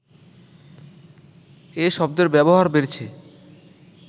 এ শব্দের ব্যবহার বেড়েছে